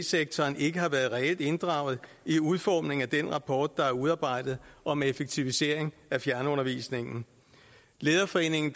sektoren ikke har været reelt inddraget i udformningen af den rapport der er udarbejdet om effektivisering af fjernundervisning lederforeningen